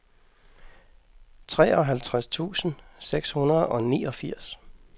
treoghalvtreds tusind seks hundrede og niogfirs